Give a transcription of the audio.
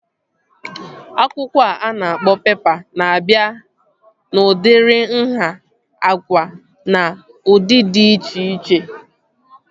Akwụkwọ a na-akpọ pepa na-abịa n'udiri nhá, agwa na ụdị dị iche iche